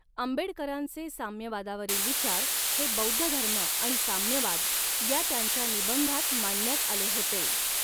आंबेडकरांचे साम्यवादावरील विचार हे बौद्धधर्म आणि साम्यवाद या त्यांच्या निबंधात मांडण्यात आले होते.